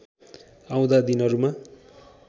आउँदा दिनहरूमा